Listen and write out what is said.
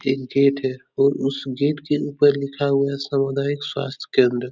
एक गेट है और उस गेट के ऊपर लिखा हुआ है सामुदायिक स्वास्थ्य केंद्र।